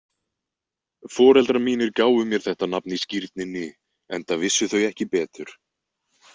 Foreldrar mínir gáfu mér þetta nafn í skírninni enda vissu þau ekki betur.